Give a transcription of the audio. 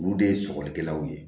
Olu de ye sɔgɔlikɛlaw ye